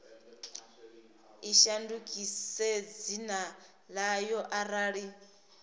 i shandukise dzina ḽayo arali